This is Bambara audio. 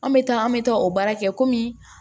An bɛ taa an bɛ taa o baara kɛ kɔmi